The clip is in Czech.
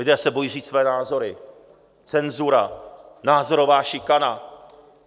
Lidé se bojí říct své názory, cenzura, názorová šikana.